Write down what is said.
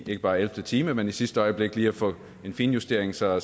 ikke bare i ellevte time men i sidste øjeblik lige at få en finjustering så